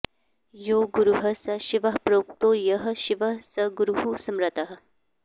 यो गुरुः स शिवः प्रोक्तो यः शिवः स गुरुः स्मृतः